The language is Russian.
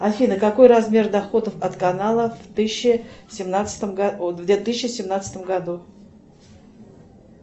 афина какой размер доходов от каналов в тысяча семнадцатом го ой в две тысячи семнадцатом году